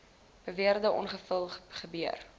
beweerde ongeval gebeur